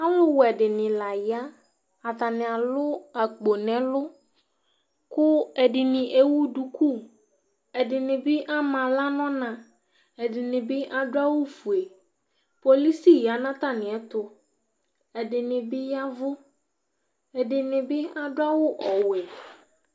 Ɔlu wʊɛ dini la yă Atani alʊ ako nɛ ɛlu Ku ɛdini éwʊ dʊkʊ, ɛdini bi ama aɣla nɔ ọna Ɛdini bi adu awu fué Policɩ yanu atamiɛtʊ Ɛdinivbivyaʋʊ Ɛdini bi adʊvawʊ ọwʊɛ